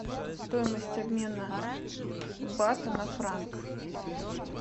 стоимость обмена бата на франк